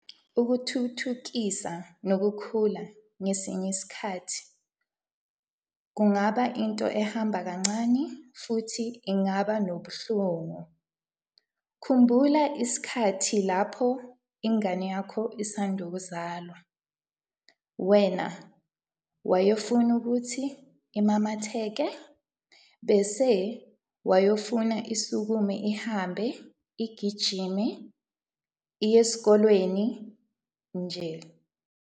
Ukuthuthukisa nokukhula ngesinye isikhathi kungaba into ehamba kancane futhi engaba nobuhlungu. Khumbula isikhathi lapho ingane yakho isand' ukuzalwa, wena wayefuna ukuthi imamatheke, bese wayefuna isukume ihambe, igijime, iye esikolweni, nje.